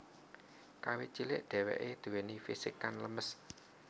Kawit cilik dheweke duweni fisik kang lemes